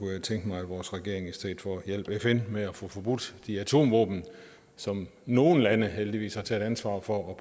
jeg tænke mig at vores regering i stedet for hjalp fn med at få forbudt de atomvåben som nogle lande heldigvis har taget ansvaret for at